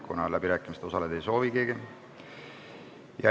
Sulgen läbirääkimised, kuna keegi ei soovi läbirääkimistel osaleda.